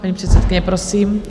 Paní předsedkyně, prosím.